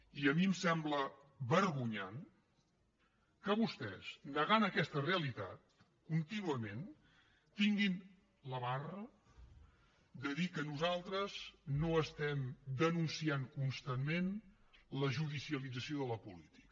i a mi em sembla vergonyant que vostès negant aquesta realitat contínuament tinguin la barra de dir que nosaltres no estem denunciant constantment la judicialització de la política